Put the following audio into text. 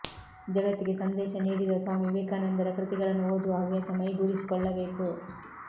ಜಗತ್ತಿಗೆ ಸಂದೇಶ ನೀಡಿರುವ ಸ್ವಾಮಿ ವಿವೇಕಾನಂದರ ಕೃತಿಗಳನ್ನು ಓದುವ ಹವ್ಯಾಸ ಮೈಗೂಡಿಸಿಕೊಳ್ಳಬೇಕು